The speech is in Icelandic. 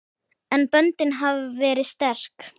En böndin hafa verið sterk.